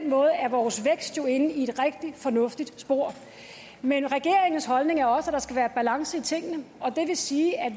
måde er vores vækst jo inde i et rigtig fornuftigt spor men regeringens holdning er også at der skal være balance i tingene og det vil sige at